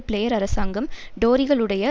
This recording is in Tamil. பிளேயர் அரசாங்கம் டோரிகளுடைய